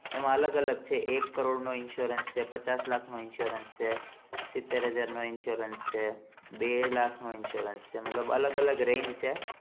એમાં અલગ અલગ છે એક કરોડ નો insurance છે પચાસ લાખનો insurance છે સીતેર હાજરનો insurance છે બે લાખ નો insurance સે મતલબ અલગ અલગ range છે